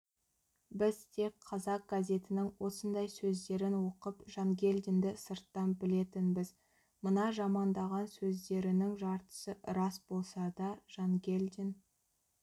біз тек қазақ газетінің осындай сөздерін оқып жангелдинді сырттан білетінбіз мына жамандаған сөздерінің жартысы рас болса да жангелдин